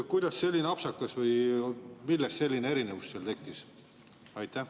Kuidas selline apsakas või millest selline erinevus seal tekkis?